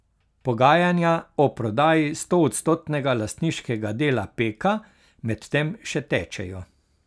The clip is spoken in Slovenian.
Pogajanja o prodaji stoodstotnega lastniškega dela Peka medtem še tečejo.